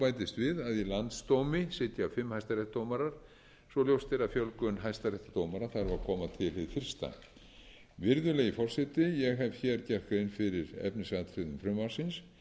bætist við að í landsdómi sitja fimm hæstaréttardómarar svo ljóst er að fjölgun hæstaréttardómara þarf að koma til hið fyrsta virðulegi forseti ég hef gert grein fyrir efnisatriðum frumvarpsins ég legg því til að frumvarpinu verði